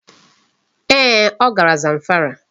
Ee, ọ gara Zamfara.